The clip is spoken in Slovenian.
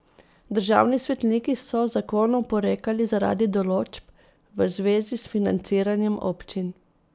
Državni svetniki so zakonu oporekali zaradi določb v zvezi s financiranjem občin.